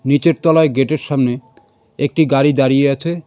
নিচের তলায় গেটের সামনে একটি গাড়ি দাঁড়িয়ে আছে.